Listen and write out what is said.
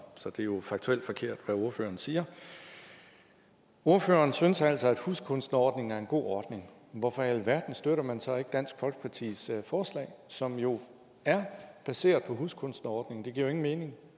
så det er jo faktuelt forkert hvad ordføreren siger ordføreren synes altså at huskunstnerordningen er en god ordning hvorfor i alverden støtter man så ikke dansk folkepartis forslag som jo er baseret på huskunstnerordningen det giver jo ingen mening